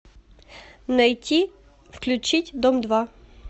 найти включить дом два